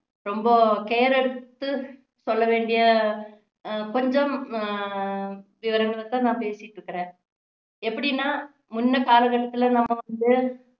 ரொம்ப care எடுத்து சொல்ல வேண்டிய அஹ் கொஞ்சம் உம் விவரங்களை தான் நான் பேசிட்டு இருக்கிறேன் எப்படின்னா முன்ன கால கட்டத்துல நம்ம வந்து